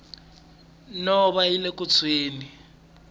nhova yile ku tshweni